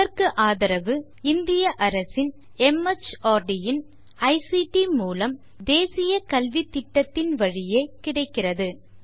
இதற்கு ஆதரவு இந்திய அரசு துவக்கிய மார்ட் இன் ஐசிடி மூலம் தேசிய கல்வித்திட்டத்தின் வழியே கிடைக்கிறது